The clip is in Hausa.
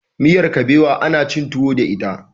miyar kubewa ana cin tuwo da ita